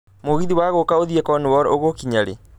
mũgithĩ wa guũka ũthiĩ Cornwall ũgũkinya riĩ